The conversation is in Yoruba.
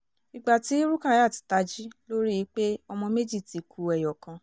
ìgbà tí rukayat tají ló rí i pé ọmọ méjì ti ku ẹyọ kan